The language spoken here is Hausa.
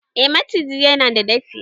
eh maciji yana da dafi